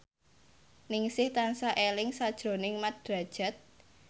Ningsih tansah eling sakjroning Mat Drajat